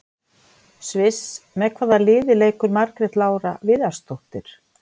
Sviss Með hvaða liði leikur Margrét Lára Viðarsdóttir?